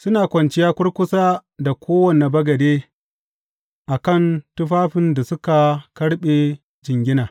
Suna kwanciya kurkusa da kowane bagade a kan tufafin da suka karɓe jingina.